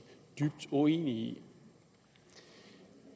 dybt uenige i